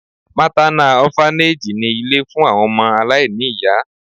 MÁTÁNÁ Ọ́FANÈG ni ilé fún àwọn ọmọ aláìní ìyá.